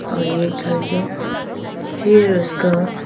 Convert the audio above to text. और यह एक घर जो फिर उसका--